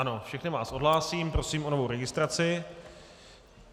Ano, všechny vás odhlásím, prosím o novou registraci.